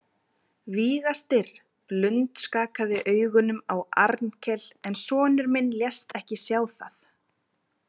Víga- Styrr blundskakaði augunum á Arnkel en sonur minn lést ekki sjá það.